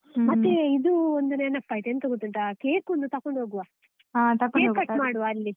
ಮತ್ತೆ ಇದೂ ಒಂದು ನೆನಪಾಯ್ತು, ಎಂತ ಗೊತ್ತುಂಟಾ cake ಒಂದು ತಕೊಂಡು ಹೋಗುವ, cake cut ಮಾಡುವ ಅಲ್ಲಿ.